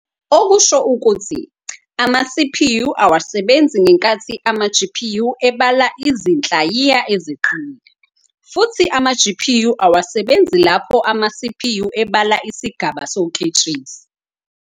Okusho ukuthi, ama-CPU awasebenzi ngenkathi ama-GPU ebala izinhlayiya eziqinile, futhi ama-GPU awasebenzi lapho ama-CPU ebala isigaba soketshezi.